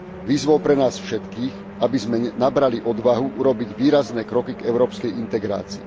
Výzvou pre nás všetkých, aby sme nabrali odvahu urobiť výrazné kroky k európskej integrácii.